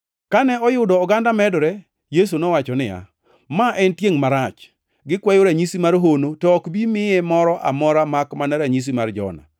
Kane oyudo oganda medore, Yesu nowacho niya, “Ma en tiengʼ marach. Gikwayo ranyisi mar hono, to ok bi miye moro amora makmana ranyisi mar Jona.